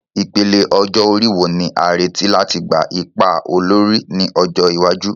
Ìpele ọjọ́ orí wo ni a retí láti gba ipa olórí ní ọjọ́ iwájú?